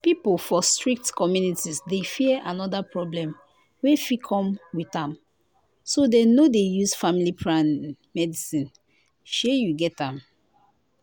people for strict communities dey fear another problem wey fit come with am so dem no dey use family planning medicine shey you get am